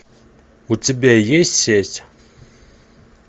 у тебя есть сеть